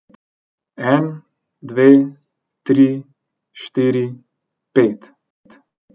En, dve, tri, štiri, pet.